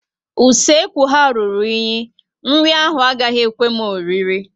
Ụlọ usekwu ha rụrụ enyi, nri ahụ agaghị ekwe m oriri